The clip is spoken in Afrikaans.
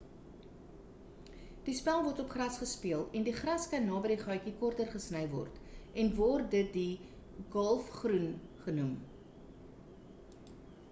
die spel word op gras gespeel en die gras kan naby die gaatjie korter gesny word en word dit die gholfgroen genoem